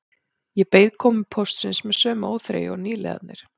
Ég beið komu póstsins með sömu óþreyju og nýliðarnir